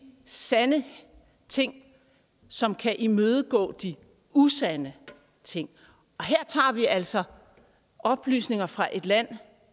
sande ting som kan imødegå de usande ting og her tager vi altså oplysninger fra et land